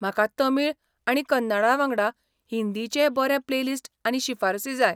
म्हाका तमिळ आनी कन्नडा वांगडा हिंदीचेंय बरें प्लेलिस्ट आनी शिफारसी जाय.